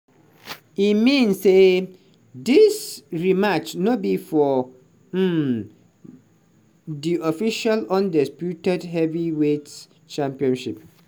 e mean say dis rematch no be for um di official undisputed heavyweight championship.